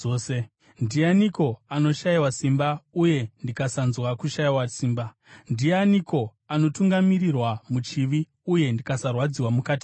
Ndianiko anoshayiwa simba uye ndikasanzwa kushayiwa simba? Ndianiko anotungamirirwa muchivi uye ndikasarwadziwa mukati mangu?